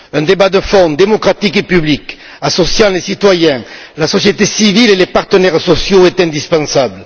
Un débat de fond, démocratique et public associant les citoyens, la société civile et les partenaires sociaux est indispensable.